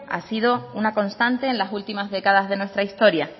ha sido una constante en las últimas décadas de nuestra historia